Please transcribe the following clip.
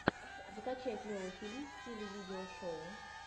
закачай клевый фильм в стиле видео шоу